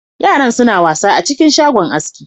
Yaran suna wasa a cikin shagon aski.